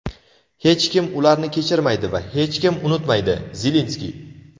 Hech kim ularni kechirmaydi va hech kim unutmaydi – Zelenskiy.